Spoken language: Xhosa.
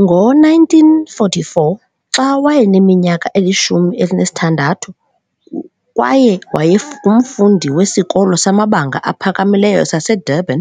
Ngo-1944, xa wayeneminyaka eyi-16 kwaye wayengumfundi weSikolo samaBanga aPhakamileyo saseDurban,